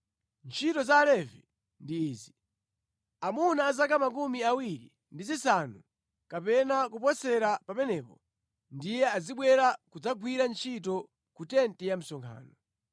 “Ntchito za Alevi ndi izi: Amuna a zaka 24 kapena kuposera pamenepa ndiye azibwera kudzagwira ntchito ku tenti ya msonkhano.